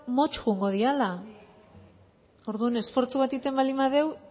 motz joango direla orduan esfortzu bat egiten baldin badegu